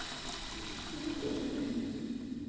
что за кошка